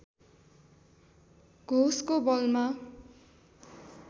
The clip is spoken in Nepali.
घोषको बलमा